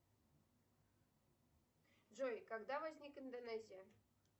джой когда возникла индонезия